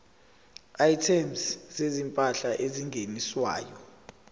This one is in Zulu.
items zezimpahla ezingeniswayo